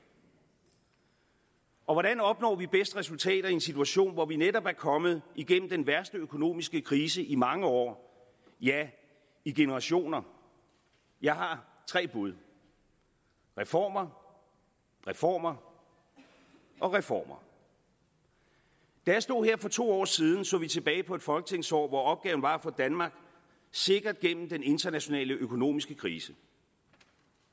og hvordan opnår vi bedst resultater i en situation hvor vi netop er kommet igennem den værste økonomiske krise i mange år ja i generationer jeg har tre bud reformer reformer og reformer da jeg stod her for to år siden så vi tilbage på et folketingsår hvor opgaven var at få danmark sikkert gennem den internationale økonomiske krise